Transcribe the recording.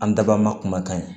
An daba ma kumakan ye